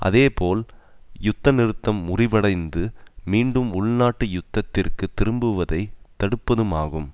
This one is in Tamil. அதேபோல் யுத்த நிறுத்தம் முறிவடைந்து மீண்டும் உள்நாட்டு யுத்தத்திற்கு திரும்புவதை தடுப்பதுமாகும்